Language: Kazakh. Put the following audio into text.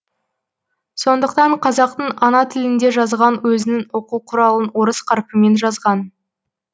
сондықтан қазақтың ана тілінде жазған өзінің оқу құралын орыс қарпімен жазған